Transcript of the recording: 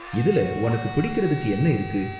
இதுல உனக்கு பிடிக்கறதுக்கு என்ன இருக்கு?